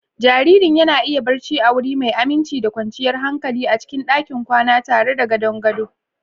Jaririn yana iya barci a wuri mai aminci da kwanciyar hankali a cikin ɗakin kwana tare da gadon gado.